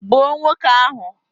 Gbuo nwoke ahu!